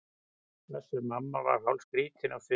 Össur-Mamma var hálfskrýtinn á svipinn.